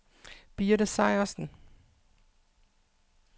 Birte Sejersen